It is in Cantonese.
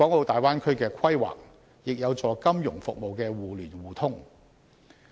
大灣區的規劃亦有助金融服務的互聯互通。